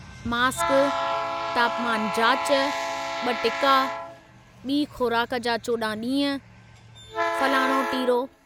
mask, तापमानु जाच, ब॒ टिका, ॿी खु़राक जा 14 ॾींहं, फ़लाणो टीरो